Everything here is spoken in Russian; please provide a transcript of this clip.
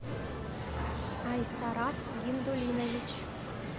айсарат гиндулинович